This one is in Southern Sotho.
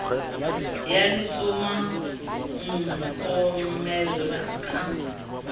ya leshoma o nkomela ka